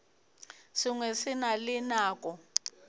sengwe se na le nako